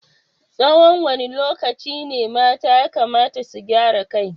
Tsawan wane lokaci ne mata yakamata su gyaran kai?